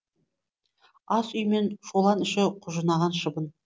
ас үй мен шолан іші құжынаған шыбын